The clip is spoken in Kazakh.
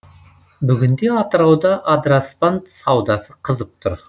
бүгінде атырауда адыраспан саудасы қызып тұр